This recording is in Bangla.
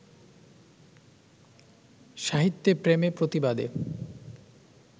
সাহিত্যে প্রেমে-প্রতিবাদে